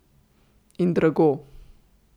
In drago.